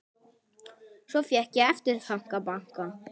Svo fékk ég eftirþanka.